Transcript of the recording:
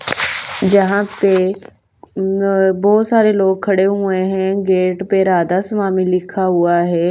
जहाँ पे अ बहुत सारे लोग खड़े हुए हैं गेट पे राधा स्वामी लिखा हुआ हैं।